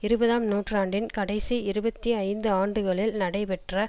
இருபதாம் நூற்றாண்டின் கடைசி இருபத்தி ஐந்து ஆண்டுகளில் நடைபெற்ற